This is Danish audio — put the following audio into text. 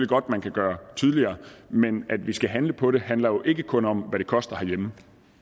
godt man kan gøre tydeligere men at vi skal handle på det handler jo ikke kun om hvad det koster herhjemme